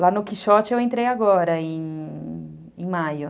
Lá no Quixote eu entrei agora, em maio.